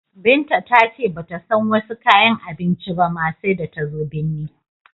Binta ta ce ba ta san wasi kayan abincin ba ma, sai da ta zo binni.